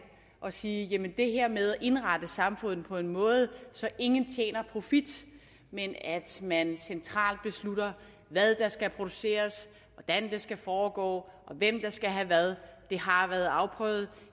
og sige jamen det her med at indrette samfundet på en måde så ingen skaber profit men at man centralt beslutter hvad der skal produceres hvordan det skal foregå og hvem der skal have hvad har været afprøvet